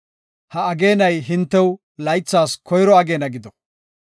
“Ha ageenay hintew laythas koyro ageena gido.